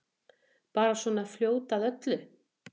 Bara svona fljót að öllu.